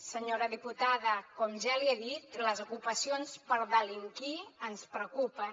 senyora diputada com ja li he dit les ocupacions per delinquir ens preocupen